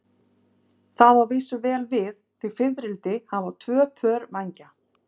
Það á að vísu vel við, því fiðrildi hafa tvö pör vængja.